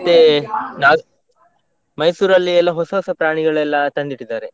ಮತ್ತೆ ನಾಗ್ Mysore ಲ್ಲಿ ಎಲ್ಲಾ ಹೊಸ ಹೊಸ ಪ್ರಾಣಿಗಳೆಲ್ಲಾ ತಂದಿಟ್ಟಿದ್ದಾರೆ.